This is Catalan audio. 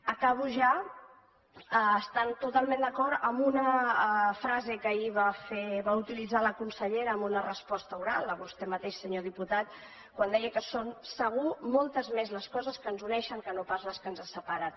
acabo ja estant totalment d’acord amb una frase que ahir va utilitzar la consellera en una resposta oral a vostè mateix senyor diputat quan deia que són segur moltes més les coses que ens uneixen que no pas les que ens separen